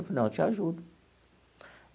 Eu falei, não, eu te ajudo.